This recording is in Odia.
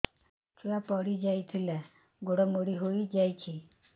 ଛୁଆ ପଡିଯାଇଥିଲା ଗୋଡ ମୋଡ଼ି ହୋଇଯାଇଛି